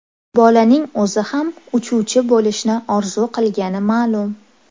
Bolaning o‘zi ham uchuvchi bo‘lishni orzu qilgani ma’lum.